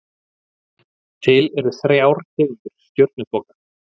Til eru þrjár tegundir stjörnuþoka.